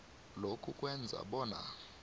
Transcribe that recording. lokhu kwenza bona